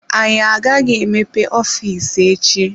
Anyị agaghị emepe ofiisi echi.